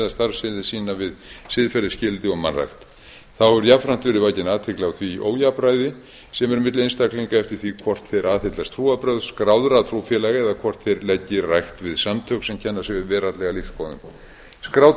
starfsemi sína við siðferðisgildi og mannrækt þá hefur jafnframt verið vakin athygli á því ójafnræði sem er milli einstaklinga eftir því hvort þeir aðhyllast trúarbrögð skráðra trúfélaga eða hvort þeir leggi rækt við samtök sem kenna sig við veraldlegar lífsskoðanir skráð